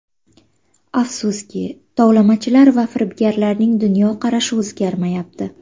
Afsuski, tovlamachilar va firibgarlarning dunyoqarashi o‘zgarmayapti.